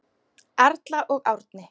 Erla og Árni.